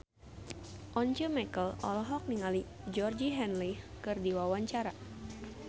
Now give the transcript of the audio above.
Once Mekel olohok ningali Georgie Henley keur diwawancara